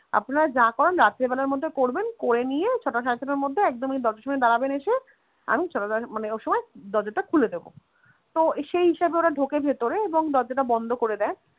আপনার যা করার রাত্রি বেলার মধ্যে করবেন করে নিয়ে ছটা সাড়ে ছটার মধ্যে একদম এই দরজার সামনে দারাবেন এসে আমি সকালবেলা মানে ওই সময় দরজাটা খুলে দেবো, তো সেই হিসাবে ওরা ঢোকে ভেতরে এবং দরজাটা বন্ধ করে দেয়.